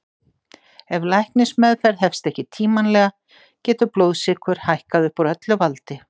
Ef læknismeðferð hefst ekki tímanlega getur blóðsykur hækkað upp úr öllu valdi.